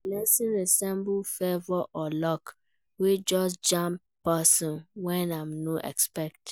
Blessing resemble favour or luck wey just jam person when im no expect